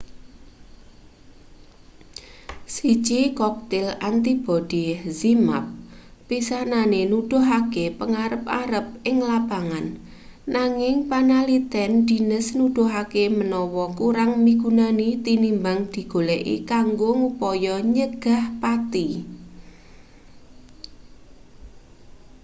siji koktil antibodi zmapp pisanane nuduhake pangarep-arep ing lapangan nanging panaliten dhines nuduhake manawa kurang migunani tinimbang digoleki kanggo ngupaya nyegah pati